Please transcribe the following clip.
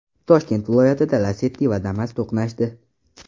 Toshkent viloyatida Lacetti va Damas to‘qnashdi.